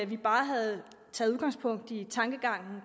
vi bare havde taget udgangspunkt i tankegangen